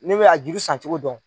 Ne bɛ a juru san cogo dɔn.